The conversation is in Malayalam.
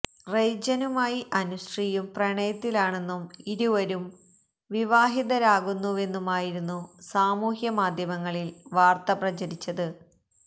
റെയ്ജനുമായി അനുശ്രീയും പ്രണയത്തിലാണെന്നും ഇരുവരും വിവാഹിതരാകുന്നുവെന്നുമായിരുന്നു സാമൂഹ്യ മാധ്യമങ്ങളിൽ വാർത്ത പ്രചരിച്ചത്